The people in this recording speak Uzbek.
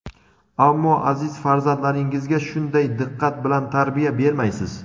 Ammo aziz farzandlaringizga shunday diqqat bilan tarbiya bermaysiz.